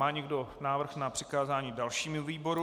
Má někdo návrh na přikázání dalšímu výboru?